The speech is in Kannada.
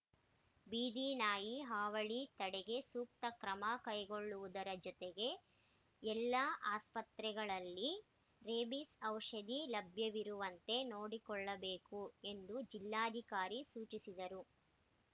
ಬೀದಿನಾಯಿ ಹಾವಳಿ ತಡೆಗೆ ಸೂಕ್ತ ಕ್ರಮ ಕೈಗೊಳ್ಳುವುದರ ಜತೆಗೆ ಎಲ್ಲ ಆಸ್ಪತ್ರೆಗಳಲ್ಲಿ ರೇಬೀಸ್‌ ಔಷಧಿ ಲಭ್ಯವಿರುವಂತೆ ನೋಡಿಕೊಳ್ಳಬೇಕು ಎಂದು ಜಿಲ್ಲಾಧಿಕಾರಿ ಸೂಚಿಸಿದರು